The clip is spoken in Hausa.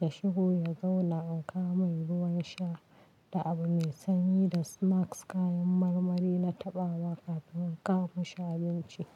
Ya shigo, ya zauna, an kawo mai ruwan sha da abu mai sanyi da snacks kayan marmari na taɓa wa kafin an kawo mishi abinci.